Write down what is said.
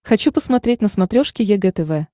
хочу посмотреть на смотрешке егэ тв